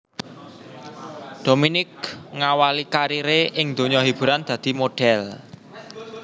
Dominique ngawali kariré ing donya hiburan dadi modhèl